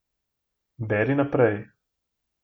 Beri naprej ...